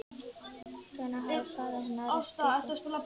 Hvenær hafði faðir hennar reykt pípu?